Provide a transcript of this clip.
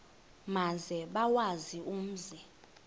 maze bawazi umzi